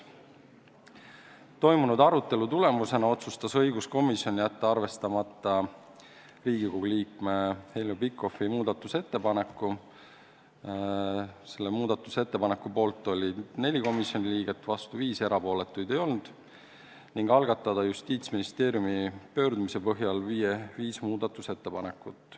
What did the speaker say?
Toimunud arutelu tulemusena otsustas õiguskomisjon jätta arvestamata Riigikogu liikme Heljo Pikhofi muudatusettepaneku – selle ettepaneku poolt oli 4 komisjoni liiget, vastu 5, erapooletuid ei olnud – ning algatada Justiitsministeeriumi pöördumise põhjal viis muudatusettepanekut.